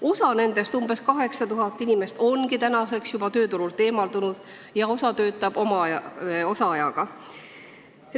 Osa nendest, umbes 8000 inimest, ongi juba tööturult eemal, osa töötab osaajaga.